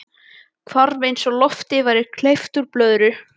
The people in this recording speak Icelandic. Hvarf eins og lofti væri hleypt úr blöðru.